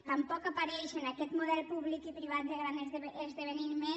tampoc apareix en aquest model públic i privat de gran esdeveniment